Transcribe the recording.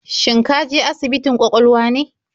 Shin ka je asibitin kwakwalwa ne?